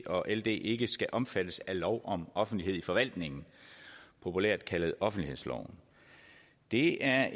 og ld ikke skal omfattes af lov om offentlighed i forvaltningen populært kaldet offentlighedsloven det er